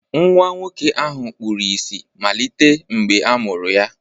Nwa nwoke ahụ kpuru ìsì malite mgbe a mụrụ ya